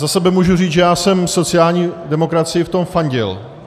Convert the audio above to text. Za sebe mohu říct, že já jsem sociální demokracii v tom fandil.